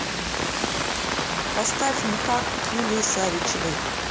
поставь никак юлии савичевой